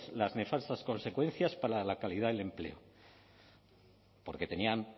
las nefastas consecuencias para la calidad del empleo porque tenían